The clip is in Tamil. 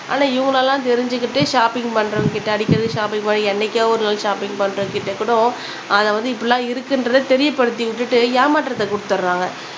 ஆனா இவங்களலாம் தெரிஞ்சுக்கிட்டு ஷாப்பிங்க் பண்றவங்ககிட்ட அடிக்கடி ஷாப்பிங்க் பண்றவங்க என்னைக்கோ ஒரு நாள் ஷாப்பிங்க் பண்றவங்ககிட்ட கூட அத வந்து இப்பிடிலாம் இருக்குன்றத தெரிய படுத்தி விட்டுட்டு ஏமாற்றத்த குடுத்துறாங்க